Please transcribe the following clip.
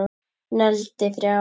Negldi þrjá!!!